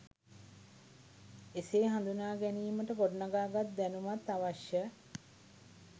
එසේ හදුනා ගැනීමට ගොඩනගා ගත් දැනුමත් අවශ්‍ය